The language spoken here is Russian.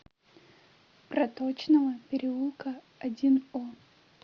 проточного переулка один о